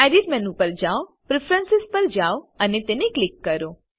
edit menu પર જાઓ preference પર જાઓ અને તેને ક્લિક કરો